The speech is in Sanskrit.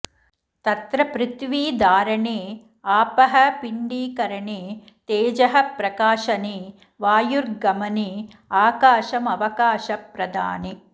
तत्र पृथिवी धारणे आपः पिण्डीकरणे तेजः प्रकाशने वायुर्गमने आकाशमवकाशप्रदाने